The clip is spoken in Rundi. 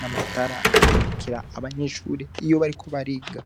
n'amatara amurikira abanyeshure iyo bariko bariga.